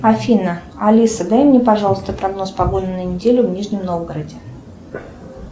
афина алиса дай мне пожалуйста прогноз погоды на неделю в нижнем новгороде